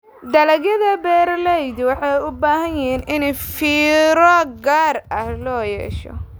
Dalagyada beeralayda waxay u baahan yihiin in fiiro gaar ah loo yeesho.